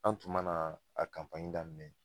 An tun mana a daminɛ